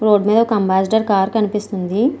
Road మీద ఒక Ambassador car కనిపిస్తుంది.